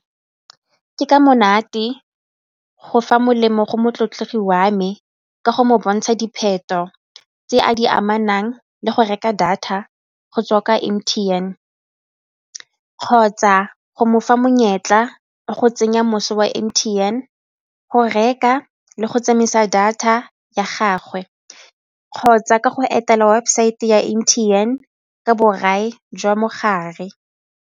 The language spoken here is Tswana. Ke ka monate go fa molemo go motlotlegi wa me ka go mo bontsha dipheto tse a di amanang le go reka data go tswa ka M_T_N kgotsa go mofa monyetla wa go tsenya moso wa M_T_N go reka le go tsamaisa data ya gagwe kgotsa ka go etela webosaete ya M_T_N ka borai jwa gage.